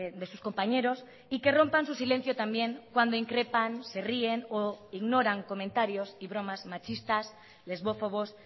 de sus compañeros y que rompan su silencio también cuando increpan se ríen o ignoran comentarios y bromas machistas lesbófobos